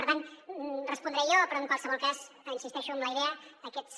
per tant respondré jo però en qualsevol cas insisteixo en la idea aquests